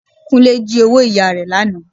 Kúnlé jí owó ìyá rẹ lánàá